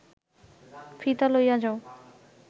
ফিতা লইয়া যাও